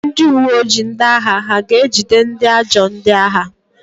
Ndị uwe ojii ndị agha ha ga-ejide ndị ajọ ndị agha?